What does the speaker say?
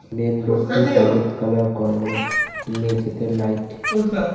main রোডটি হলুদ colour করানো মেঝেতে লাইট --